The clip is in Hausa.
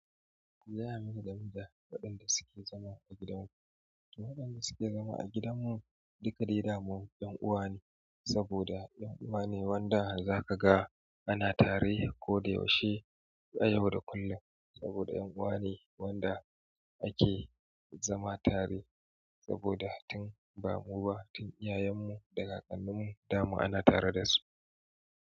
Zai yi masa damuwa waɗanda suke zama a gidanmu. Waɗanda suke zama a gidanmu duka dai dama 'yan uwa ne, saboda 'yan uwa ne wanda za ka ga ana tare ko da yaushe, a yau da kullum. Saboda 'yan uwa ne wanda ake zama tare, saboda tun ba mu ba, tun iyayenmu da kakanninmu dama ana tare da su.